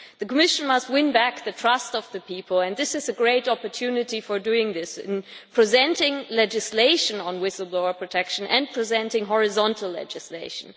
The Commission must win back the trust of the people and this is a great opportunity for doing so, by presenting legislation on whistle blower protection and presenting horizontal legislation.